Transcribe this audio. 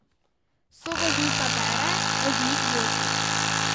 Sovoznica bere, voznik vozi.